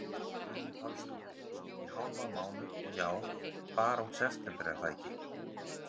Guðný Pálsdóttir: Í hálfan mánuð, og já, bara út september er það ekki?